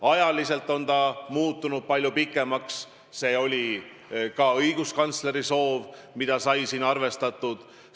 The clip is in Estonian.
Ajaliselt on see muutunud palju pikemaks ja see oli ka õiguskantsleri soov, mida sai arvestatud.